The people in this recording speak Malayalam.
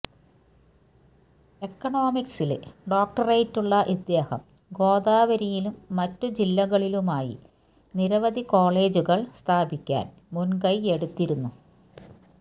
എക്കണോമിക്സില് ഡോക്ടറേറ്റുള്ള ഇദ്ദേഹം ഗോദാവരിയിലും മറ്റു ജില്ലകളിലുമായി നിരവധി കോളേജുകള് സ്ഥാപിക്കാന് മുന്കൈയെടുത്തിരുന്നു